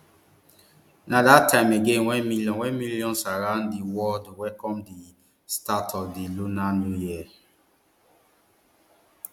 na dat time again wen millions wen millions around di world welcome di start of di lunar new year